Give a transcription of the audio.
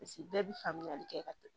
Paseke bɛɛ bɛ faamuyali kɛ ka